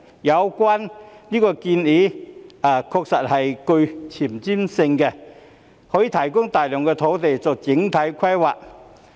有關建議確實具前瞻性，可以提供大量土地作整體規劃。